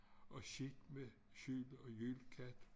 Og skidt med skjul og jylkatt